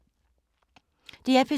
DR P3